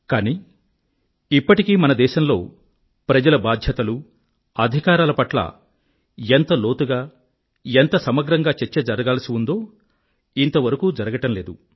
కానీ ఇప్పటికీ మన దేశంలో ప్రజల బాధ్యతలు అధికారాల పట్ల ఎంత లోతుగా ఎంత సమగ్రంగా చర్చ జరగాల్సి ఉందో అది ఇంతవరకూ జరగటం లేదు